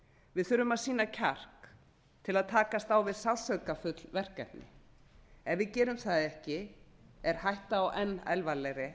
við þurfum að sýna kjark til að takast á við sársauka verkefni ef við gerum það ekki er hætta á enn alvarlegri